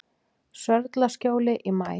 Sörlaskjóli í maí